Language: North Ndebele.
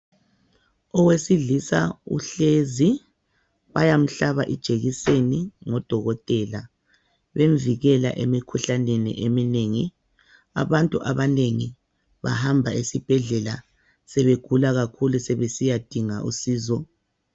Owesilisa uhlezi bayamhlaba ijekiseni ngudokotela bemvikela emkhuhlaneni eminengi abantu abanengi bahamba esibhedlela sebegula kakhulu sebesiyadinga usizo.